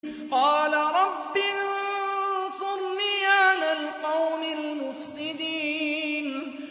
قَالَ رَبِّ انصُرْنِي عَلَى الْقَوْمِ الْمُفْسِدِينَ